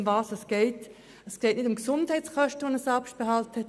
Es geht nicht um Gesundheitskosten, die einen Selbstbehalt haben.